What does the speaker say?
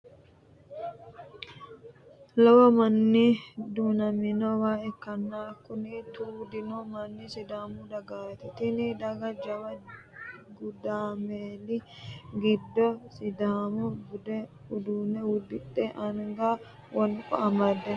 Lowo manni duunamenoowa ikkanna kuni tuudino manni sidaamu dagaati. Tini daga jawu gudumaali giddo sidaamu budu uddano uddidhe anga wonqo amadde no.